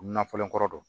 Na fɔlen kɔrɔ don